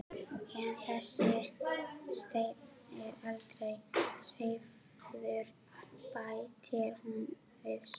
En þessi steinn er aldrei hreyfður, bætir hún svo við.